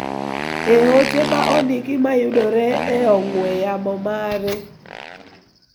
e ote ma ondiki ma yudore e ong'we yamo mare